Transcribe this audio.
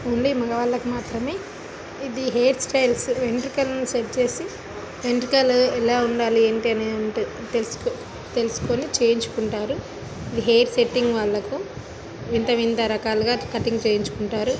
Only మొగవల్లకు మాత్రమే ఇది హెయిర్ స్టైల్ వెంట్రుకలను సెట్ చేసి వెంట్రుకలను ఎలా ఉండాలి ఏంటి అనేది ఉంటది తెల్సు-తెల్సుకొని చేయించుకుంటారు హెయిర్ సెట్టింగ్ వాళ్ళకు వింత వింత రకాలుగా కటింగ్ చేయించుకుంటారు.